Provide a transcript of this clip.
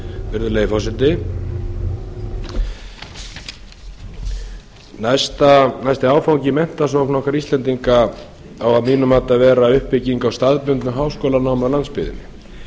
virðulegi forseti næsti áfangi í menntasókn okkar íslendinga á að mínu mati að vera uppbygging á staðbundnu háskólanámi á landsbyggðinni